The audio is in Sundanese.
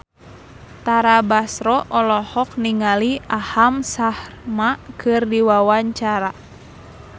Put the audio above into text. Tara Basro olohok ningali Aham Sharma keur diwawancara